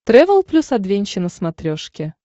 трэвел плюс адвенча на смотрешке